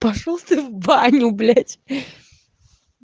пошёл ты в баню блять